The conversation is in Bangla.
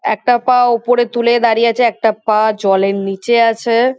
একটা পা ওপরে তুলে দাঁড়িয়ে আছে। একটা পা জলের নিচে আছে।